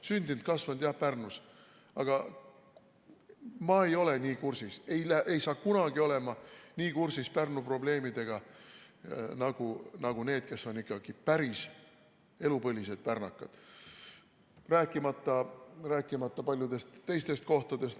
Sündinud-kasvanud olen jah Pärnus, aga ma ei ole nii kursis, ma ei saa kunagi olema nii kursis Pärnu probleemidega nagu need, kes on ikkagi päris elupõlised pärnakad, rääkimata paljudest teistest kohtadest.